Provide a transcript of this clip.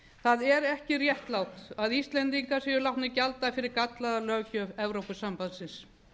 það er ekki réttlátt að íslendingar séu látnir gjalda fyrir gallaða löggjöf evrópusambandsins